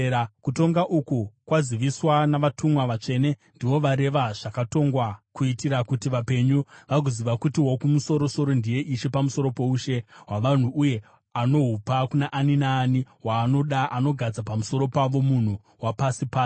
“ ‘Kutonga uku kwaziviswa navatumwa, vatsvene ndivo vareva zvakatongwa, kuitira kuti vapenyu vagoziva kuti Wokumusoro-soro ndiye ishe pamusoro poushe hwavanhu uye anohupa kuna ani naani waanoda anogadza pamusoro pavo munhu wapasipasi.’